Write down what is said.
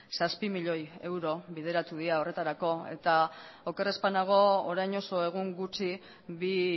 zazpi milioi euro bideratu dira horretarako eta oker ez banago orain oso egun gutxi bi